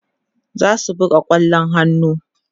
zasu buga kwallon hannu